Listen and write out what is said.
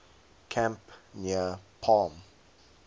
camp near palm